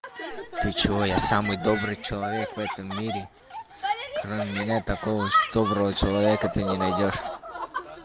ты чего я самый добрый человек в этом мире кроме меня такого доброго человека ты не найдёшь